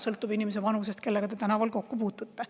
See sõltub selle inimese vanusest, kellega te tänaval kokku puutute.